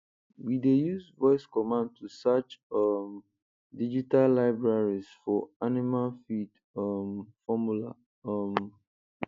we dey use voice command to search um digital libraries for animal feed um formula um